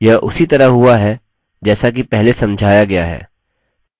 यह उसी तरह हुआ है जैसा कि पहले समझाया गया है